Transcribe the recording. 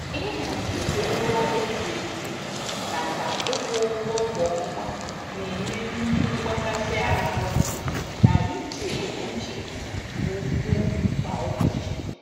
Ịhazi ụgwọ eji eji nakwa ịkwụ ụgwọ kwa ọnwa na-enye nnukwu mgbakasi ahụ na íchè uche nke ukwuu kwa ụbọchị.